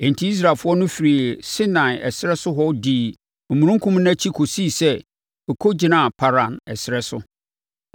enti Israelfoɔ no firii Sinai ɛserɛ so hɔ dii omununkum no akyi kɔsii sɛ ɛkɔgyinaa Paran ɛserɛ so.